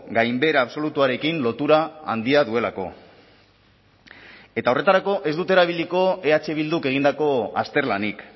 gainbehera absolutuarekin lotura handia duelako eta horretarako ez dut erabiliko eh bilduk egindako azterlanik